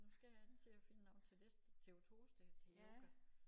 Nu skal jeg til at finde noget til næste til på torsdag til yoga